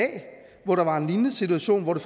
hvor der var en lignende situation hvor det